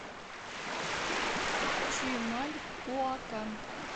чимальуакан